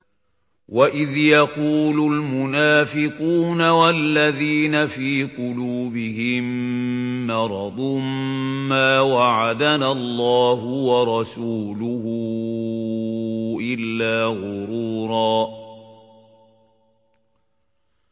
وَإِذْ يَقُولُ الْمُنَافِقُونَ وَالَّذِينَ فِي قُلُوبِهِم مَّرَضٌ مَّا وَعَدَنَا اللَّهُ وَرَسُولُهُ إِلَّا غُرُورًا